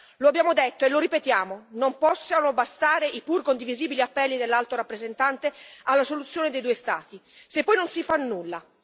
Lo abbiamo detto e lo ripetiamo non possono bastare i pur condivisibili appelli dell'Alto rappresentante alla soluzione dei due Stati se poi non si fa nulla.